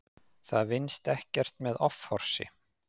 Það vinnist ekkert með offorsi.